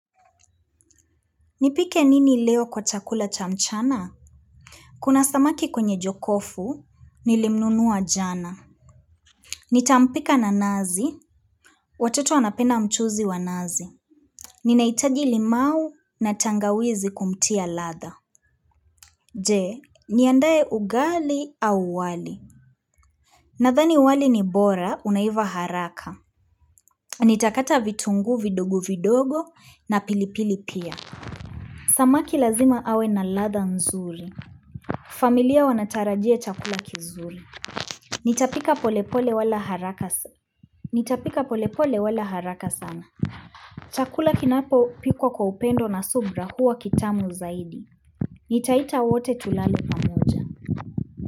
Nipike nini leo kwa chakula cha mchana kuna samaki kwenye jokofu nilimnunua jana nitampika na nazi watoto wanapenda mchuzi wa nazi ninaitaji limau na tangawizi kumtia latha jee niandaye ugali au wali na thani wali ni bora unaiva haraka nitakata vitunguu vidogo vidogo na pilipili pia samaki lazima awe na latha nzuri familia wanataraji chakula kizuri Nitapika polepole wala haraka sana Nitapika polepole wala haraka sana Chakula kinapo pikwa kwa upendo na subra huwa kitamu zaidi Nitaita wote tulale pamoja.